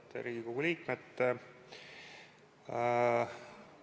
Head Riigikogu liikmed!